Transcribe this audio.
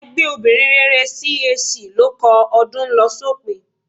Ẹgbẹ́ obìnrin rere CAC ló kọ "Ọdún ń lọ sópin"